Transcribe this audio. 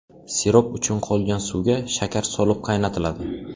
Sirop uchun qolgan suvga shakar solib qaynatiladi.